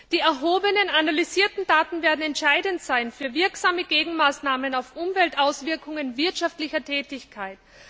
Die erhobenen analysierten Daten werden entscheidend sein für wirksame Gegenmaßnahmen zu Umweltauswirkungen wirtschaftlicher Tätigkeit.